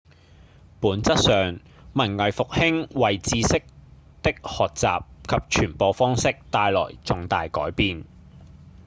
本質上文藝復興為知識的學習及傳播方式帶來重大改變